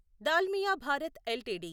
Dalmia Bharat LTD